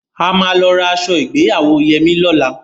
A máa lọ ra aṣọ ìgbéyàwó Yẹmí lọ́la.